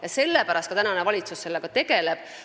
Ja sellepärast tegeleb sellega ka valitsus.